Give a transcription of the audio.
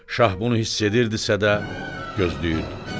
Şah bunu hiss edirdisə də, gözləyirdi.